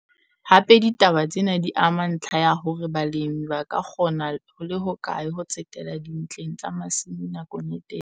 Hape ditaba tsena di ama ntlha ya hore balemi ba ka kgona ho le hokae ho tsetela dintleng tsa masimo nakong e telele.